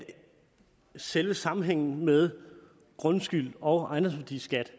selve sammenhængen med grundskyld og ejendomsværdiskat